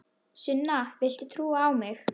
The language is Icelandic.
Sunna, viltu trúa á mig?